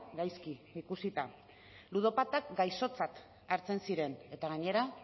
gaizki ikusita ludopatak gaixotzat hartzen ziren eta gainera